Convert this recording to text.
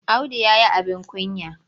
Audu ya yi abin kunya.